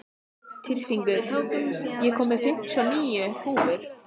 Tyrfingur, ég kom með fimmtíu og níu húfur!